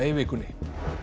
í vikunni